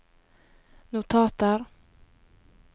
notater